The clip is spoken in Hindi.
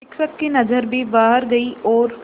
शिक्षक की नज़र भी बाहर गई और